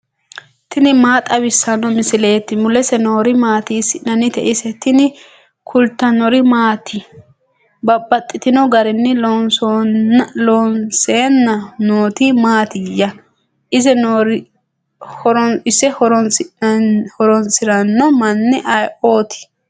tini maa xawissanno misileeti ? mulese noori maati ? hiissinannite ise ? tini kultannori maati? Babaxxittinno garinni loonseenna nootti Mattiya? ise horoonsiranno manni ayiootti?